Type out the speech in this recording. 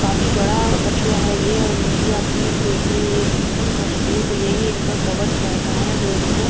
काफी बड़ा कछुआ है ये और इनकी आप पीठ देखिए ये एकदम मज़बूत और यही इनका कवच रहता है जो इनको--